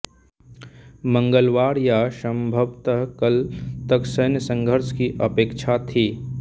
मंगलवार या संभवत कल तक सैन्य संघर्ष की अपेक्षा थी